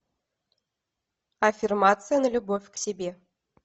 аффирмация на любовь к себе